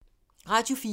Radio 4